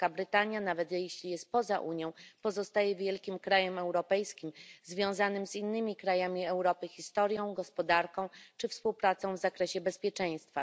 Wielka Brytania nawet jeśli jest poza Unią pozostaje wielkim krajem europejskim związanym z innymi krajami Europy historią, gospodarką czy współpracą w zakresie bezpieczeństwa.